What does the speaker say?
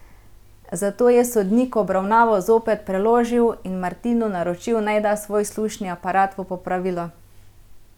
Zato je sodnik obravnavo zopet preložil in Martinu naročil, naj da svoj slušni aparat v popravilo.